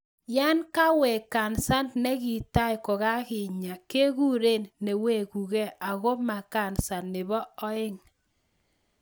Yan kawek kansa nekitai kokakinya kekuren newegukei ako ma kansa nebo oeng